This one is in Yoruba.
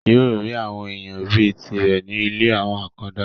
yóò rí àwọn èèyàn bíi tirẹ̀ ní ilé àwọn àkàndá